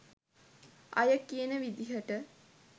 අය කියන විදියට